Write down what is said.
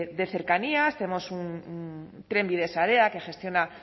de cercanías tenemos trenbide sarea que gestiona